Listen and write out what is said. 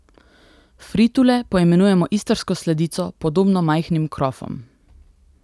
Fritule poimenujemo istrsko sladico, podobno majhnim krofom.